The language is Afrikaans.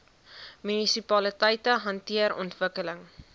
munisipaliteite hanteer ontwikkeling